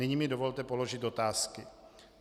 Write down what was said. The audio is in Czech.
Nyní mi dovolte položit otázky.